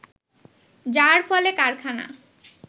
যার ফলে কারখানা